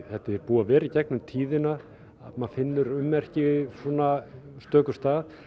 þetta er búið að vera í gegnum tíðina maður finnur ummerki svona stökum stað